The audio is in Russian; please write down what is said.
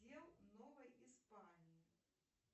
новой испании